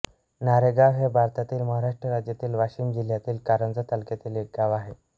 नारेगाव हे भारतातील महाराष्ट्र राज्यातील वाशिम जिल्ह्यातील कारंजा तालुक्यातील एक गाव आहे